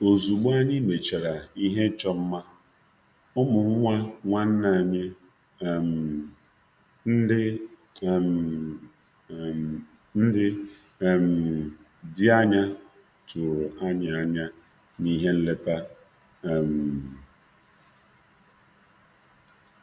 Ozugbo anyị mechara ihe ịchọ mma, ụmụ nwa nwanne anyi ndi dị anya tụrụ anyị anya na ihe nleta.